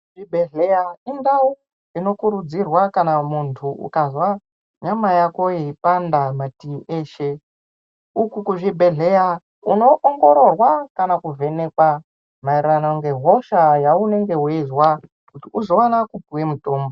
Zvibhedhleya indau inokurudzirwa kana muntu ukazwa nyama yako yeipanda mativi eshe. Uku kuzvibhedhleya unoongororwa kana kuvhenekwa maererano ngehosha yaanenge weizwa kuti uzowana kupuwe mutombo.